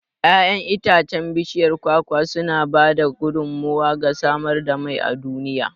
Yaƴan itacen bishiyar kwakwa sana ba da gudummawa ga samar da mai a duniya.